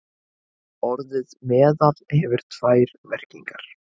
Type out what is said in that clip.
Orðið meðal hefur tvær merkingar.